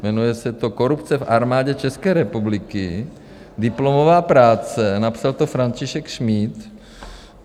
Jmenuje se to Korupce v Armádě České republiky, diplomová práce, napsal to František Šmíd.